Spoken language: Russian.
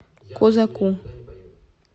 козаку